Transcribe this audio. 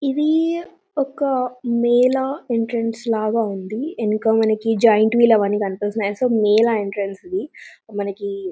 ఇది ఒక మేలా ఎంట్రెన్స్ లాగా ఉంది.వెనక మనకు జయింట్ వీల్ అవి అన్ని కనిపిస్తున్నాయి. అండ్ సో మేల ఎంట్రన్స్ ఇది .]